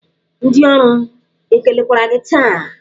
Ndị ọrụ ekelekwara gị taa?